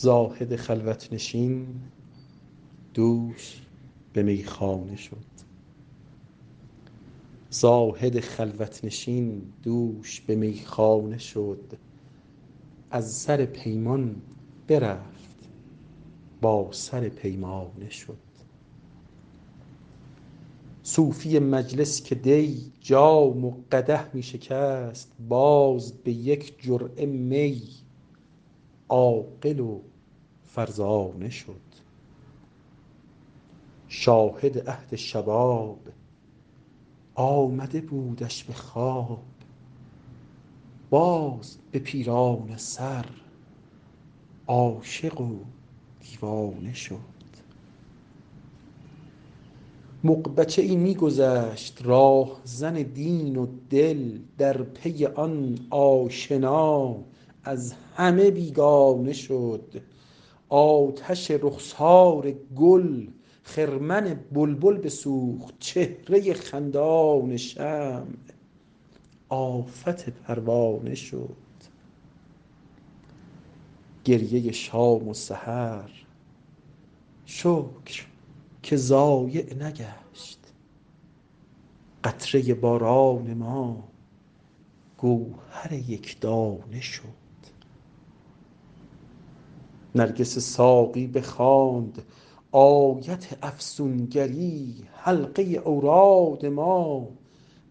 زاهد خلوت نشین دوش به میخانه شد از سر پیمان برفت با سر پیمانه شد صوفی مجلس که دی جام و قدح می شکست باز به یک جرعه می عاقل و فرزانه شد شاهد عهد شباب آمده بودش به خواب باز به پیرانه سر عاشق و دیوانه شد مغ بچه ای می گذشت راهزن دین و دل در پی آن آشنا از همه بیگانه شد آتش رخسار گل خرمن بلبل بسوخت چهره خندان شمع آفت پروانه شد گریه شام و سحر شکر که ضایع نگشت قطره باران ما گوهر یک دانه شد نرگس ساقی بخواند آیت افسون گری حلقه اوراد ما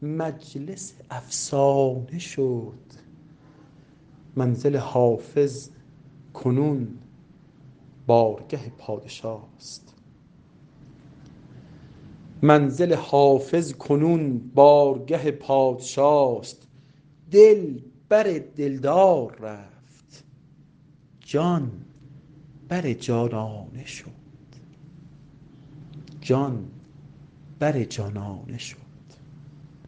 مجلس افسانه شد منزل حافظ کنون بارگه پادشاست دل بر دل دار رفت جان بر جانانه شد